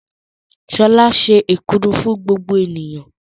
Ṣọlá se èkuru fún gbogbo ènìyàn.